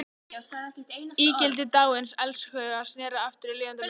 Ígildi dáins elskhuga sneri aftur í lifandi mynd.